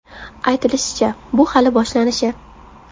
Aytilishicha, bu hali boshlanishi.